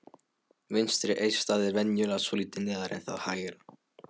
Vinstra eistað er venjulega svolítið neðar en það hægra.